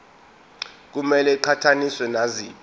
kumele iqhathaniswe naziphi